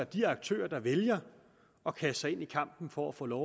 de aktører der vælger at kaste sig ind i kampen for at få lov